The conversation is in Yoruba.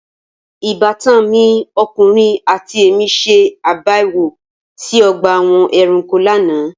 Ìbátan mi ọkùnrin àti èmí ṣe àbẹ̀wò sí ọgbà àwọn ẹranko lánàá.